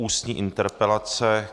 Ústní interpelace